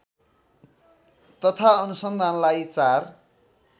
तथा अनुसन्धानलाई चार